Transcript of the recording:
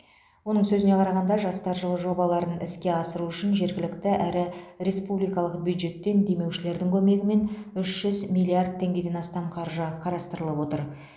оның сөзіне қарағанда жастар жылы жобаларын іске асыру үшін жергілікті әрі республикалық бюджеттен демеушілердің көмегімен үш жүз миллиард теңгеден астам қаржы қарастырылып отыр